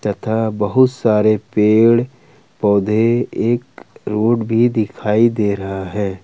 तथा बहुत सारे पेड़ पौधे एक रोड भी दिखाई दे रहा है।